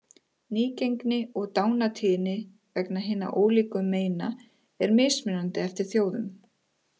Nýgengi og dánartíðni vegna hinna ólíku meina er mismunandi eftir þjóðum.